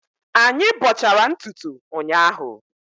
Anyị bọchara ntutu ụnyahụ